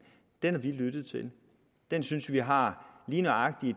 har vi lyttet til den synes vi har lige nøjagtig